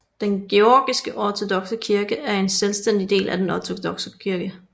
Den Georgiske Ortodokse Kirke er en selvstændig del af Den ortodokse kirke